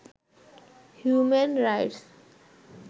human rights